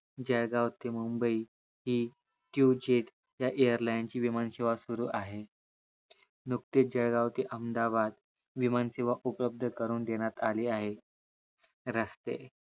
जळगाव ते मुंबई हि टिवचिट या AIRLAND ची विमान सेवा सुरु आहे नुकतेच जळगाव ते अहमदाबाद विमान सेवा उपलध करून देण्यात आली आहे. रस्ते